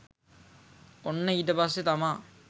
ඔන්න ඊට පස්සෙ තමා